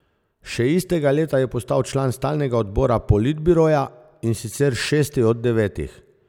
Še istega leta je postal član stalnega odbora politbiroja, in sicer šesti od devetih.